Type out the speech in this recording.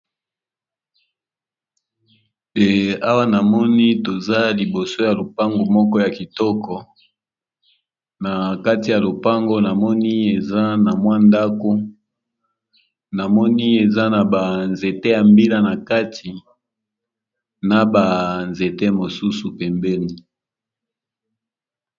Awa na moni toza liboso ya lopango moko ya kitoko. Na kati ya lopango namoni eza na mwa ndako namoni eza na ba nzete ya mbila, na kati na banzete mosusu pembeni.